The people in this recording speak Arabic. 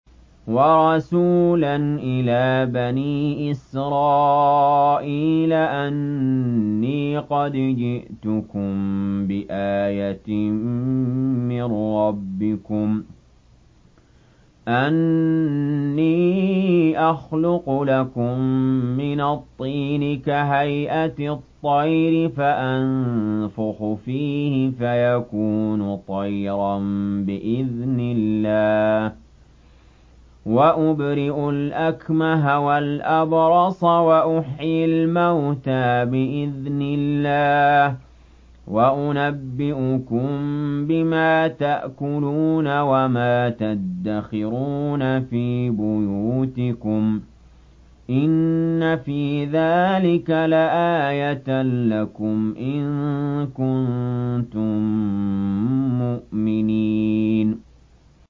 وَرَسُولًا إِلَىٰ بَنِي إِسْرَائِيلَ أَنِّي قَدْ جِئْتُكُم بِآيَةٍ مِّن رَّبِّكُمْ ۖ أَنِّي أَخْلُقُ لَكُم مِّنَ الطِّينِ كَهَيْئَةِ الطَّيْرِ فَأَنفُخُ فِيهِ فَيَكُونُ طَيْرًا بِإِذْنِ اللَّهِ ۖ وَأُبْرِئُ الْأَكْمَهَ وَالْأَبْرَصَ وَأُحْيِي الْمَوْتَىٰ بِإِذْنِ اللَّهِ ۖ وَأُنَبِّئُكُم بِمَا تَأْكُلُونَ وَمَا تَدَّخِرُونَ فِي بُيُوتِكُمْ ۚ إِنَّ فِي ذَٰلِكَ لَآيَةً لَّكُمْ إِن كُنتُم مُّؤْمِنِينَ